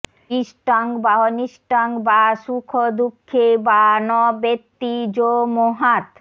ইষ্টং বাঽনিষ্টং বা সুখদুঃখে বা ন বেত্তি যো মোহাত্